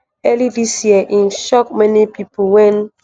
early dis year im shock many pipo wen